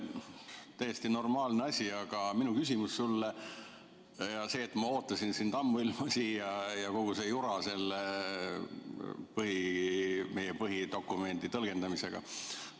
Täiesti normaalne asi, ma ootasin sind ammuilma siia, siin oli kogu see jura selle meie põhidokumendi tõlgendamisega.